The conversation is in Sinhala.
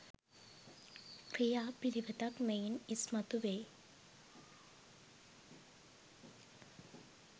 ක්‍රියා පිළිවෙතක් මෙයින් ඉස්මතු වෙයි.